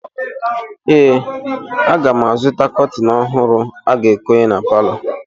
Ee, aga m azụta kọtịn ọhụrụ a ga-ekonye na palọ.